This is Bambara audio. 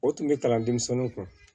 O tun bɛ kalan denmisɛnninw kun